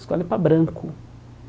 Escola é para branco.